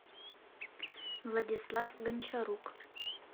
владислав гончарук